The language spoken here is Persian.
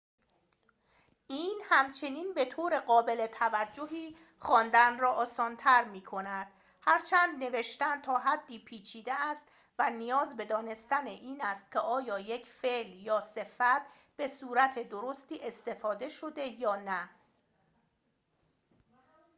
این همچنین به‌طور قابل توجهی خواندن را آسان‌تر می‌کند هرچند نوشتن تا حدی پیچیده است و نیاز به دانستن این است که آیا یک فعل یا صفت به صورت درستی استفاده شده یا نه